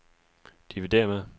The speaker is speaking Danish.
dividér med